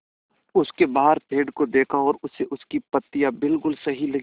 उसने बाहर पेड़ को देखा और उसे उसकी पत्तियाँ बिलकुल सही लगीं